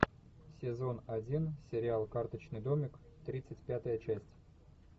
сезон один сериал карточный домик тридцать пятая часть